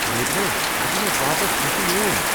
میگھنا، یہ دِ مےٚ واپس۔ یہ چھُ میون!